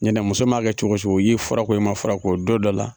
Ɲɛnɛ muso maa kɛ cogo o cogo i ye fura ko i man fura ko don dɔ la